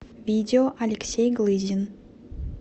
видео алексей глызин